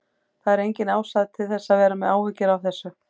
Það er engin ástæða til að vera með áhyggjur af þessu.